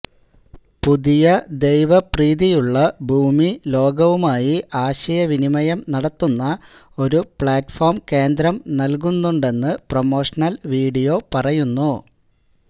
പുതിയ ദൈവപ്രീതിയുള്ള ഭൂമി ലോകവുമായി ആശയവിനിമയം നടത്തുന്ന ഒരു പ്ലാറ്റ്ഫോം കേന്ദ്രം നൽകുന്നുണ്ടെന്ന് പ്രമോഷണൽ വീഡിയോ പറയുന്നു